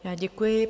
Já děkuji.